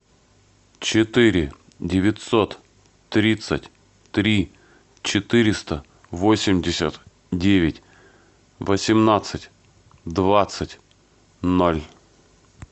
четыре девятьсот тридцать три четыреста восемьдесят девять восемнадцать двадцать ноль